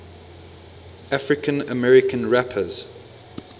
african american rappers